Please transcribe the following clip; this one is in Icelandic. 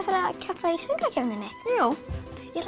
að keppa í söngvakeppninni jú ég ætla